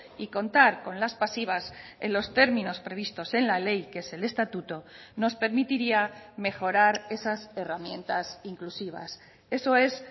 y contar con las pasivas en los términos previstos en la ley que es el estatuto nos permitiría mejorar esas herramientas inclusivas eso es